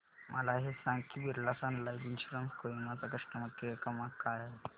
मला हे सांग की Birla sun life insurance Kohima चा कस्टमर केअर क्रमांक काय आहे